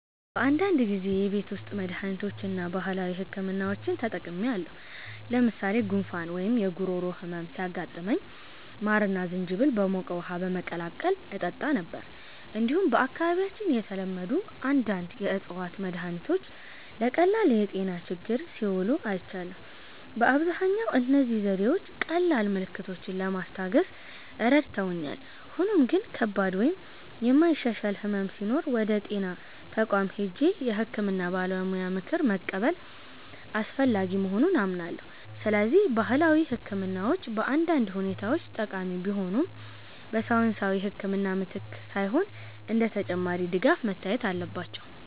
"አዎ፣ በአንዳንድ ጊዜ የቤት ውስጥ መድሃኒቶችን እና ባህላዊ ሕክምናዎችን ተጠቅሜያለሁ። ለምሳሌ ጉንፋን ወይም የጉሮሮ ህመም ሲያጋጥመኝ ማርና ዝንጅብል በሞቀ ውሃ በመቀላቀል እጠጣ ነበር። እንዲሁም በአካባቢያችን የተለመዱ አንዳንድ የእፅዋት መድሃኒቶች ለቀላል የጤና ችግሮች ሲውሉ አይቻለሁ። በአብዛኛው እነዚህ ዘዴዎች ቀላል ምልክቶችን ለማስታገስ ረድተውኛል፣ ሆኖም ግን ከባድ ወይም የማይሻሻል ሕመም ሲኖር ወደ ጤና ተቋም ሄጄ የሕክምና ባለሙያ ምክር መቀበል አስፈላጊ መሆኑን አምናለሁ። ስለዚህ ባህላዊ ሕክምናዎች በአንዳንድ ሁኔታዎች ጠቃሚ ቢሆኑም፣ በሳይንሳዊ ሕክምና ምትክ ሳይሆን እንደ ተጨማሪ ድጋፍ መታየት አለባቸው።"